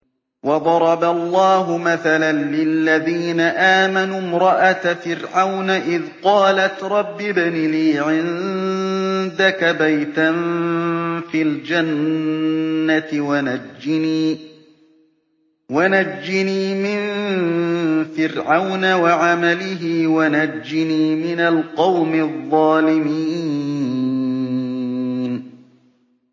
وَضَرَبَ اللَّهُ مَثَلًا لِّلَّذِينَ آمَنُوا امْرَأَتَ فِرْعَوْنَ إِذْ قَالَتْ رَبِّ ابْنِ لِي عِندَكَ بَيْتًا فِي الْجَنَّةِ وَنَجِّنِي مِن فِرْعَوْنَ وَعَمَلِهِ وَنَجِّنِي مِنَ الْقَوْمِ الظَّالِمِينَ